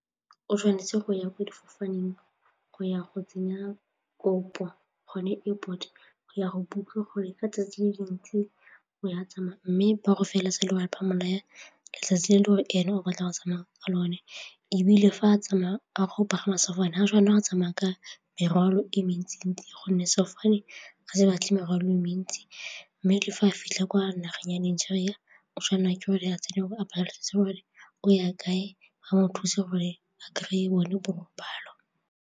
O tshwanetse go ya ko sefofaneng go ya go tsenya kopo gone airpot go ya go book-a gore ka 'tsatsi tsamaya mme ba go ya letsatsi le le gore ene o batla go tsamaya ka lone ebile fa a tsamaya a go pagama sefofane ga a tshwanela go tsamaya ka morwalo e mentsi-ntsi gonne sefofane ga se batle morwalo e mentsi mme le fa a fitlha kwa nageng ya Nigeria o tshwanelwa ke gore a tsene gore o ya kae a mo thuse gore a kry-e bone borobalo.